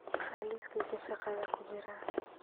maxaa liiskayga shaqadha ku jira